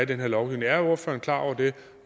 den her lovgivning er ordføreren klar over det